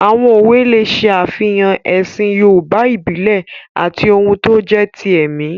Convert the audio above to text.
Àwọn òwe lè ṣe àfihàn ẹ̀sìn yoòbá ìbílẹ̀ àti ohun tó jẹ́ ti ẹ̀mí